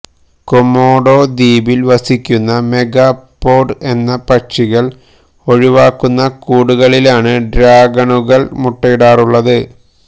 Komodo ദ്വീപില് വസിക്കുന്ന megapode എന്ന പക്ഷികള് ഒഴിവാക്കുന്ന കൂടുകളിലാണ് ഡ്രാഗണുകള് മുട്ടയിടാറുള്ളത്